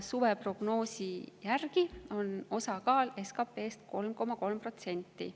Suveprognoosi järgi on selle osakaal SKP‑s 3,3%.